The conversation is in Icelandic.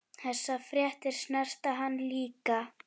Þessar fréttir snerta hann líka.